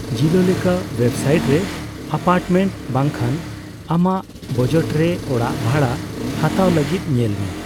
ᱡᱤᱞᱳ ᱞᱮᱠᱟ ᱳᱭᱮᱵᱥᱟᱭᱤᱴᱨᱮ ᱮᱯᱟᱨᱴᱢᱮᱱᱴ ᱵᱟᱝᱷᱟᱱ ᱟᱢᱟᱜ ᱵᱟᱡᱮᱴᱨᱮ ᱚᱲᱟᱜ ᱵᱷᱟᱲᱟ ᱦᱟᱛᱟᱣ ᱞᱟᱹᱜᱤᱫ ᱧᱮᱞᱢᱮ ᱾